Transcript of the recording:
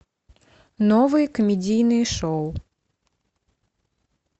новые комедийные шоу